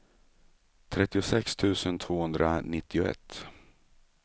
trettiosex tusen tvåhundranittioett